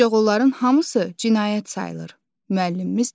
Ancaq onların hamısı cinayət sayılır, müəllimimiz dedi.